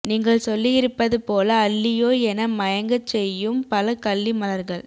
நீங்கள் சொல்லியிருப்பது போல அல்லியோ என மயங்கச்செயும் பல கள்ளி மலர்கள்